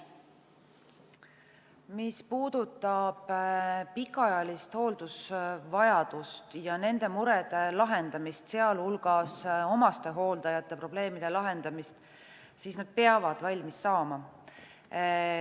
Mis puudutab pikaajalist hooldusvajadust ja nende murede lahendamist, sealhulgas omastehooldajate probleemide lahendamist, siis nad peavad valmis saama.